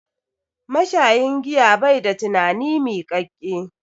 Mashayin giya bai da tunani miƙaƙƙe.